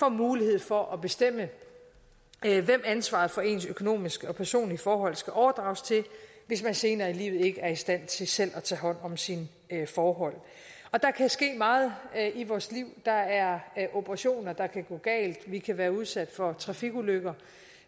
mulighed for at bestemme hvem ansvaret for ens økonomiske og personlige forhold skal overdrages til hvis man senere i livet ikke er i stand til selv at tage hånd om sine forhold der kan ske meget i vores liv der er operationer der kan gå galt vi kan være udsat for trafikulykker